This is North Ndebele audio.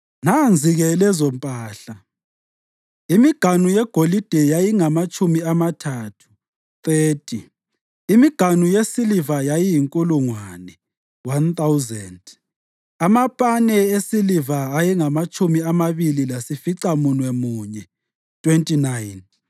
Nanzi-ke lezompahla: imiganu yegolide yayingamatshumi amathathu (30), imiganu yesiliva yayiyinkulungwane (1,000), amapane esiliva ayengamatshumi amabili lasificamunwemunye (29),